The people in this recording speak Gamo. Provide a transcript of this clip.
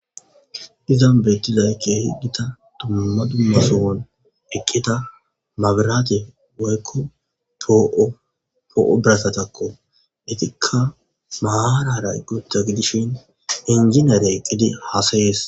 Izan beetti laykke higgita dumma dumasowon eqqita mabiraate woykko po'o birassatakko itikka maharara gutta gidishin injiniyeare eqqidi hasayees